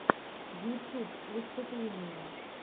ютюб выступления